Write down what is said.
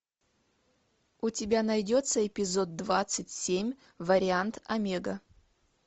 у тебя найдется эпизод двадцать семь вариант омега